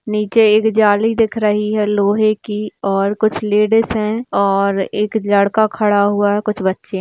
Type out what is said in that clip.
नीचे एक जाली दिख रही है लोहे की और कुछ लेडीज है और एक लड़का खड़ा हुआ है कुछ बच्चे है।